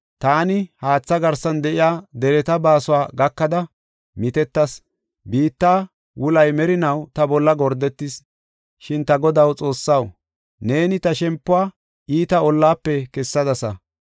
Taani haatha garsan de7iya dereta baasuwa gakada mitettas, biitta wulay merinaw ta bolla gordetis, Shin ta Godaw Xoossaw, neeni ta shempiw iita ollafe kessadasa.